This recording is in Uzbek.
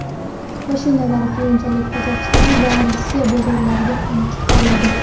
Mashinalar keyinchalik Qozog‘iston va Rossiya bozorlariga ham chiqariladi.